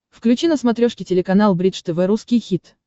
включи на смотрешке телеканал бридж тв русский хит